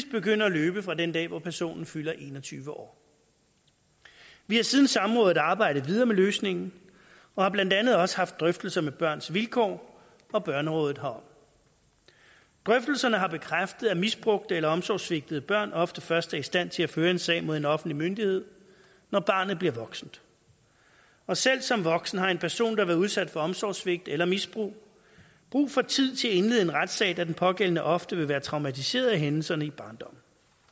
begynder at løbe fra den dag hvor personen fylder en og tyve år vi har siden samrådet arbejdet videre med løsningen og har blandt andet også haft drøftelser med børns vilkår og børnerådet herom drøftelserne har bekræftet at misbrugte eller omsorgssvigtede børn ofte først er i stand til at føre en sag mod en offentlig myndighed når barnet bliver voksent og selv som voksen har en person der har været udsat for omsorgssvigt eller misbrug brug for tid til at indlede en retssag da den pågældende ofte vil være traumatiseret af hændelserne i barndommen